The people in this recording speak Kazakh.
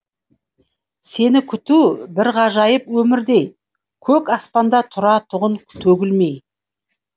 сені күту бір ғажайып өмірдей көк аспанда тұратұғын төгілмей